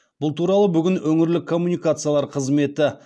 бұл туралы бүгін өңірлік коммуникациялар қызметі